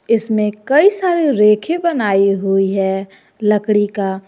इसमें कई सारी रेखे बनाई हुई है लकड़ी का।